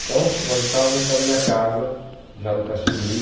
Então, nós estávamos na minha casa, já no Caxinguí.